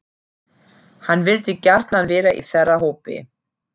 Hann vildi gjarnan vera í þeirra hópi.